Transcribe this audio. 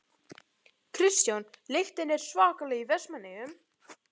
Kristján: Lyktin er svakaleg í Vestmannaeyjum?